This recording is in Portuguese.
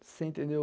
Você entendeu?